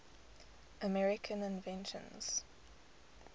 american inventions